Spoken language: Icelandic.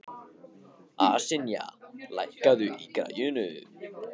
Ásynja, lækkaðu í græjunum.